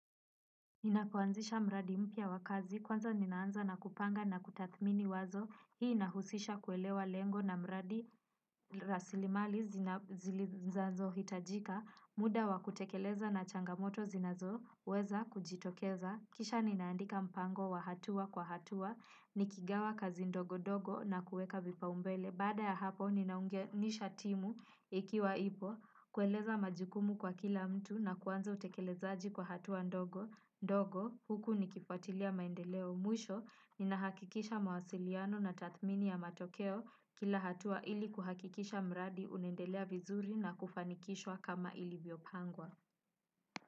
Ninapoanzisha mradi mpya wa kazi, kwanza ninaanza na kupanga na kutathmini wazo, hii inahusisha kuelewa lengo na mradi raslimali zinazohitajika, muda wa kutekeleza na changamoto zinazo, weza kujitokeza, kisha ninaandika mpango wa hatua kwa hatua, nikigawa kazi ndogo ndogo na kuweka vipa umbele. Baada ya hapo, ninaungenisha timu ikiwa ipo, kueleza majukumu kwa kila mtu na kuanza utekelezaji kwa hatua ndogo. Ndogo, huku ni kifuatilia maendeleo mwisho, nina hakikisha mawasiliano na tathmini ya matokeo kila hatua ili kuhakikisha mradi unaendelea vizuri na kufanikishwa kama ilivyopangwa.